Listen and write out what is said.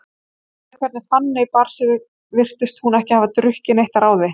Miðað við hvernig Fanný bar sig virtist hún ekki hafa drukkið neitt að ráði.